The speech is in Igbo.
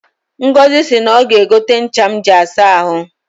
Ngọzị si na ọga egote ncha m ji asa ahụ